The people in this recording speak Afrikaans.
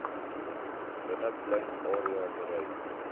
binneplein area bereik